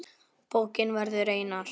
Bókin verður einar